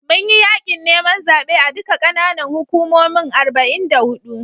Mun yi yaƙin neman zaɓe a duka ƙananan hukumomin arba'in da huɗu.